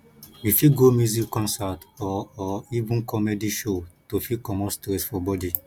we fit go music concert or or even comedy show to fit comot stress for body